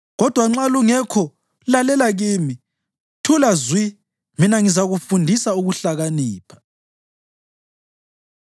Kodwa nxa lungekho lalela kimi; thula zwi mina ngizakufundisa ukuhlakanipha.”